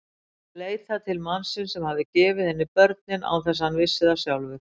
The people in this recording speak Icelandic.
Leitað til mannsins sem hafði gefið henni börnin án þess að hann vissi það sjálfur.